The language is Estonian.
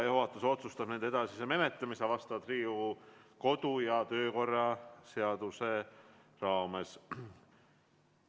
Juhatus otsustab nende edasise menetlemise Riigikogu kodu- ja töökorra seaduse raames.